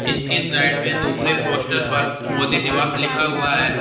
इसके साइड में दूसरे पोस्टर पर मोदी निवास लिखा हुआ है।